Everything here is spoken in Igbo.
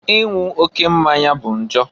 Inwu oke mmanya bụ njọ.